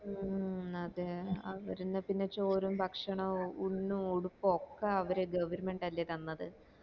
മ് അതെ അവർന്നെ പിന്നെ ചോറ് ഭക്ഷണവും ഉണണു ഉടുപ്പു ഒക്കെ അവര് govermnet അല്ലെ തന്നത്